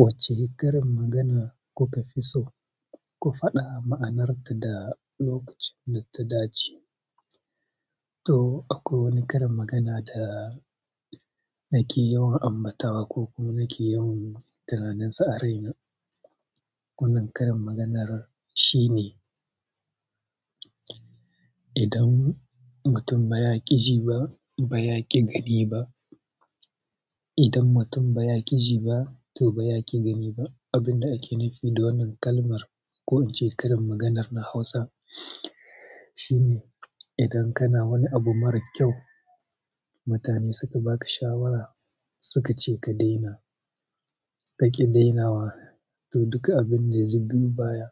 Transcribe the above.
Wacce karin magana kuka fi so, ku faɗa ma'anarta da lokacin da ta dace. To akwai wani karin magana da nake yawan ambatawa ko kuma nake yawan tunaninsa a raina. Wannan karin maganar shine, idan mutum ba yaki ji ba, ba yaki gani ba idan mutum ba ya ƙi ji ba, to ba ya ƙi gani ba." Abin da ake nufi da wannan kalmar ko in ce karin maganar na Hausa shine idan kana wani abu mara kyau, mutane suka baka shawara suka ce kadaina kaki dainawa, duk abinda yabi baya